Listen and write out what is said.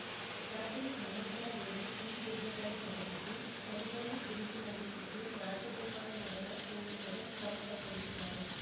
ರಾತ್ರಿ ಹನ್ನೊಂದ ರ ವೇಳೆ ಈ ದುರ್ಘಟನೆ ನಡೆದಿದ್ದು ಸ್ಥಳೀಯರೇ ಬೆಂಕಿ ನಂದಿಸಿದ್ದು ರಾಜಗೋಪಾಲ ನಗರ ಪೊಲೀಸರು ಕ್ರಮ ಕೈಗೊಂಡಿದ್ದಾರೆ